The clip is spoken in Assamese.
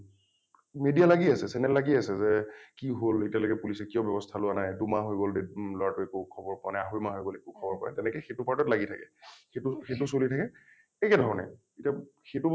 media লাগি আছে channel লাগি আছে যে কি হল এতিয়ালৈকে police এ কিয় ব্যবস্থা লোৱা নাই । দুমাহ হৈ হল দেদ লৰা টোৰ একো খবৰ পোৱা নাই আঢ়ৈ মাহ হৈ গল একো খবৰ পোৱা নাই এনেকৈ সেইটো part ত লাগি থাকে । সেইটো সেইটো চলি থাকে , একেধৰণে । এতিয়া সেইটো বস্তু